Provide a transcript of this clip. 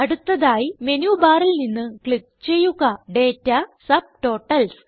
അടുത്തതായി മെനു ബാറിൽ നിന്ന് ക്ലിക്ക് ചെയ്യുക ഡാറ്റ സബ്ടോട്ടൽസ്